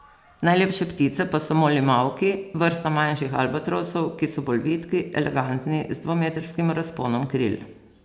Najlepše ptice pa so molimauki, vrsta manjših albatrosov, ki so bolj vitki, elegantni, z dvometrskim razponom kril.